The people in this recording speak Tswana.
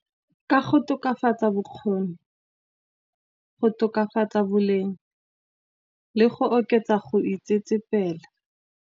Ka go tokafatsa bokgoni, go tokafatsa boleng, le go oketsa go itsetsepela.